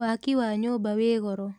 Waki wa nyũmba wĩ goro.